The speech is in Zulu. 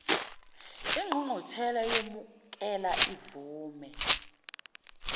ingqungquthela iyomukela ivume